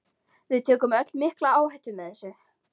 Við tökum öll mikla áhættu með þessu.